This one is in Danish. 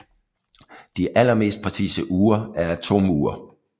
De allermest præcise ure er atomure